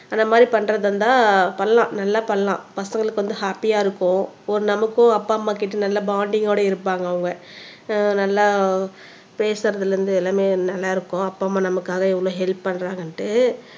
அந்த மாதிரி பண்றதா இருந்தா பண்ணலாம் நல்லா பண்ணலாம் பசங்களுக்கு வந்து ஹாப்பியா இருக்கும் ஒரு நமக்கும் அப்பா அம்மா கிட்ட நல்ல பாண்டிங் ஓட இருப்பாங்க அவங்க அஹ் நல்லா பேசுறதுல இருந்து எல்லாமே நல்லா இருக்கும் அப்பா அம்மா நமக்காக எவ்ளோ ஹெல்ப் பண்றாங்கண்டு